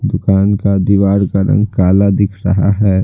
दुकान का दीवार का रंग काला दिख रहा है।